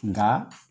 Nka